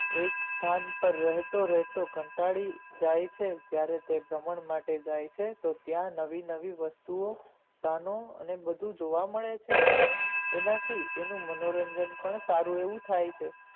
એક સ્થાને પાર રહેતો રહેતો કંટાળી જાય છે ત્યારેતે વમણ માટે જાય છે ત્યાં નવી નવી વસ્તુ સામે તેને બધું જોવા મળે છે એનાથી તેને મનોરંજન પણ સારું એવું થઇ છે.